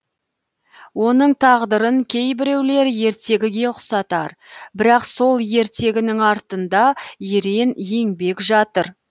оның тағдырын кейбіреулер ертегіге ұқсатар бірақ сол ертегінің артында ерен еңбек жатыр